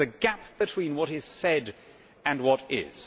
It was the gap between what is said and what is'.